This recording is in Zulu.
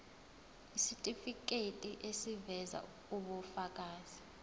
isitifiketi eziveza ubufakazi